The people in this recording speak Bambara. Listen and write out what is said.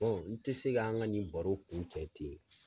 n tɛ se ka an ka nin baro kun cɛ ten